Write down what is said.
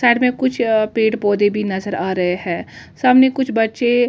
side मे कुछ पेड़ पौधे भी नज़र आ रहे है सामने कुछ बच्चे ग्राउन्ड पे--